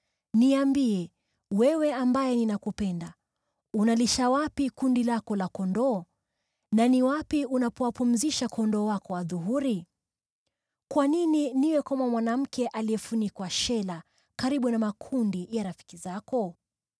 Niambie, wewe ambaye ninakupenda, unalisha wapi kundi lako la kondoo na ni wapi unapowapumzisha kondoo wako adhuhuri. Kwa nini niwe kama mwanamke aliyefunikwa shela karibu na makundi ya rafiki zako?